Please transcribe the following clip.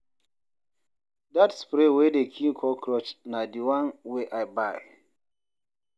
Dat spray wey dey kill cockroach na di one wey I buy.